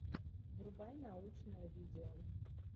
врубай научное видео